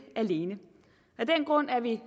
alene af den grund er vi